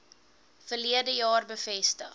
verlede jaar bevestig